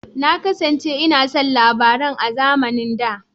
Na kasance ina son labaran a zamanin da.